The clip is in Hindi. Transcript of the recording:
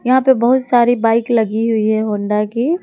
यहां पे बहुत सारी बाइक लगी हुई है होंडा की।